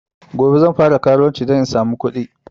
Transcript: Gobe zan fara karuwanci dan in samu kuɗi